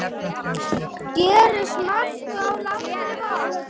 Gerist margt á langri vakt.